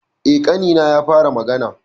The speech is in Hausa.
Eh, ƙanina ya fara magana.